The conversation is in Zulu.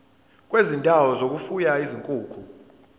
kwezindawo zokufuya izinkukhu